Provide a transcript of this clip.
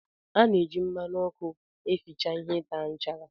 Ana eji mmanụ ọkụ eficha ihe taa nchara.